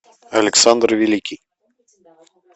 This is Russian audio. александр великий